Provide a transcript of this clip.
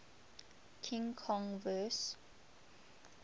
king kong vs